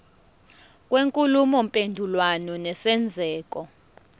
kwenkulumo mpendulwano nesenzeko